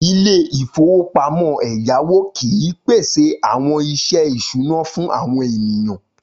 Ilé-ìfowópamọ́ ẹ̀yáwó kìí pèsè àwọn iṣẹ́ ìṣúná fún àwọn ènìyàn.